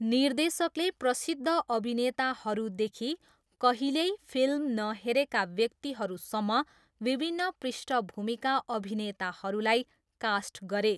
निर्देशकले प्रसिद्ध अभिनेताहरूदेखि कहिल्यै फिल्म नहेरेका व्यक्तिहरूसम्म विभिन्न पृष्ठभूमिका अभिनेताहरूलाई कास्ट गरे।